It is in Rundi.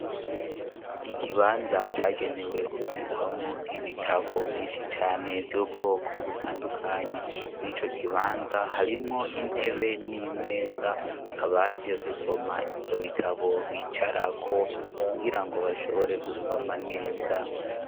Ikibanza cagenewe kubikwamwo ibitabo vyinshi cane vy'ubwoko butandukanye mw'i co kibanza harimwo intebe n'imeza abaje gusoma ivyo bitabo bicarako kugira ngo bashobore gusoma neza.